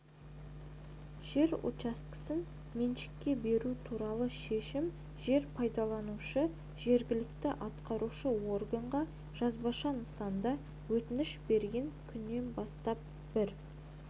жер учаскесін меншікке беру туралы шешім жер пайдаланушы жергілікті атқарушы органға жазбаша нысанда өтініш берген күннен бастап бір